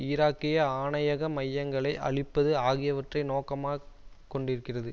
ஈராக்கிய ஆணையக மையங்களை அழிப்பது ஆகியவற்றை நோக்கமாக் கொண்டிருக்கிறது